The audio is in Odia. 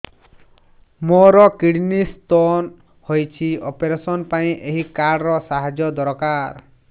ମୋର କିଡ଼ନୀ ସ୍ତୋନ ହଇଛି ଅପେରସନ ପାଇଁ ଏହି କାର୍ଡ ର ସାହାଯ୍ୟ ଦରକାର